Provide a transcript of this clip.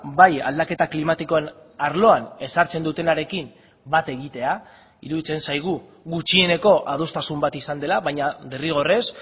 bai aldaketa klimatikoen arloan ezartzen dutenarekin bat egitea iruditzen zaigu gutxieneko adostasun bat izan dela baina derrigorrez